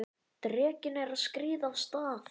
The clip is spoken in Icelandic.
Drekinn er að skríða af stað!